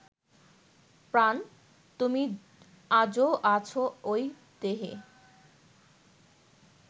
প্রাণ, তুমি আজো আছ ঐ দেহে